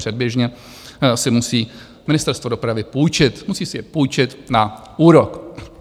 Předběžně si musí Ministerstvo dopravy půjčit, musí si je půjčit na úrok.